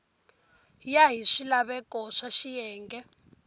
ya hi swilaveko swa xiyenge